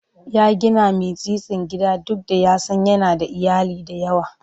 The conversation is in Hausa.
Ya gina mitsitsin gida duk da ya san yana da iyali da yawa.